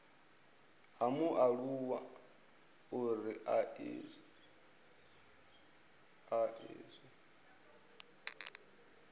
ha mualuwa uri a iswe